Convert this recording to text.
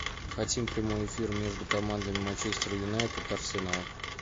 хотим прямой эфир между командами манчестер юнайтед арсенал